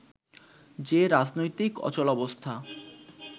যে রাজনৈতিক অচলাবস্থা